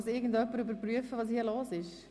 Kann jemand überprüfen, was hier los ist?